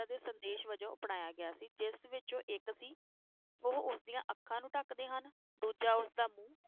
ਦੇ ਸੰਦੇਸ਼ ਵਜੋਂ ਅਪਣਾਇਆ ਗਿਆ ਸੀ ਜਿਸ ਵਿਚੋਂ ਉਹ ਇਕ ਸੀ, ਉਹ ਉਸ ਦੀਆਂ ਅੱਖਾਂ ਨੂੰ ਢਕਦੇ ਹਨ, ਦੂਜਾ ਉਸਦਾ ਮੂੰਹ